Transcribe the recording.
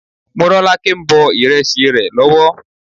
Morọ́lákẹ́ ń bọ ìrẹsì rẹ lọ́wọ́.